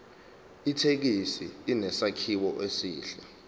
ithekisi inesakhiwo esihle